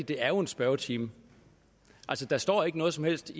det er en spørgetime altså der står ikke noget som helst